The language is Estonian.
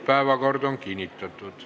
Päevakord on kinnitatud.